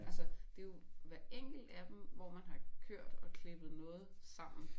Altså det jo hver enkelt af dem hvor man har kørt og klippet noget sammen